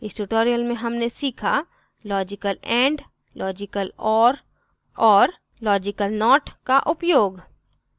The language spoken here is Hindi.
इस tutorial में हमने सीखा